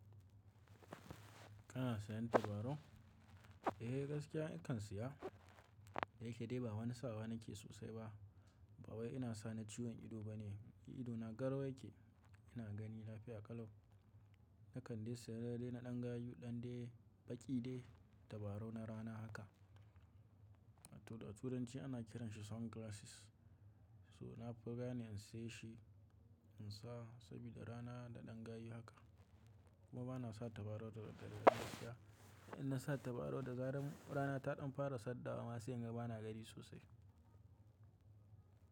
Kana sayan tabarau? Eh gaskiya in kan siya, da yake dai ba wani sawa nake sosai ba. Ba wai ina sa na ciwon ido bane, idona garau yake. Ina gani lafiya kalau. Nakan dai siya dai na ɗan gayu ɗan dai baƙi dai tabarau na rana haka. Da turanci ana kiranshi sunglasses. So na fi gane in saye shi in sa saboda rana da ɗan gayu haka. Kuma bana sa tabarau da daddare da safiya. In na sa tabarau da zaran rana ta ɗan fara saddawa ma sai, inga ba na gani sosai.